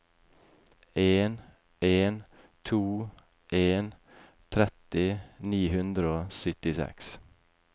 en en to en tretti ni hundre og syttiseks